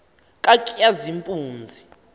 katshazimpunzi